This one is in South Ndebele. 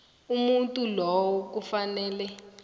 umuntu lowo kufanele